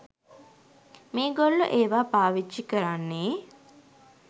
මේගොල්ලෝ ඒවා පාවිච්චි කරන්නේ